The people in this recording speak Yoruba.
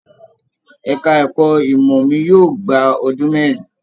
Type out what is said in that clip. Ẹka ẹ̀kọ́ ìmọ mí yóò gbà ọdún mẹrin.